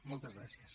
moltes gràcies